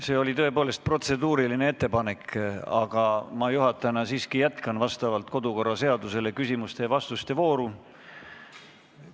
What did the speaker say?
See oli tõepoolest protseduuriline ettepanek, aga juhatajana ma siiski jätkan vastavalt kodu- ja töökorra seadusele küsimuste ja vastuste vooru.